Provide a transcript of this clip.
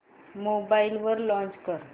mobile वर launch कर